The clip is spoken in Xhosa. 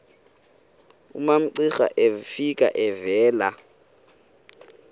umamcira efika evela